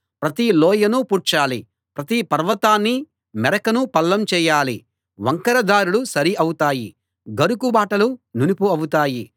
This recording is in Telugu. ప్రతి లోయనూ పూడ్చాలి ప్రతి పర్వతాన్నీ మెరకనూ పల్లం చేయాలి వంకర దారులు సరి అవుతాయి గరుకు బాటలు నునుపు అవుతాయి